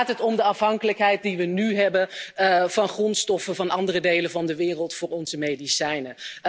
Dan gaat het om de afhankelijkheid die we nu hebben van grondstoffen van andere delen van de wereld voor onze medicijnen.